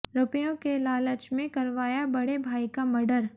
रुपयों के लालच में करवाया बड़े भाई का मर्डर